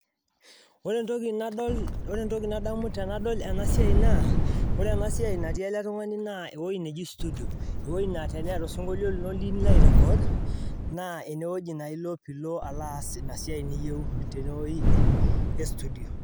Ore entoki nadamu tenadol ena naa etii ele tungani studio enaa teneeta osinkolio liyiou nirany nilo aarany tine nilo aircord naa tene naa ilo aaas